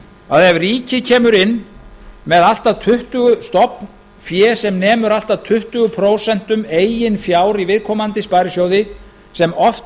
að ef ríkið kemur inn með stofnfé sem nemur allt að tuttugu prósent eigin fjár í viðkomandi sparisjóði sem oft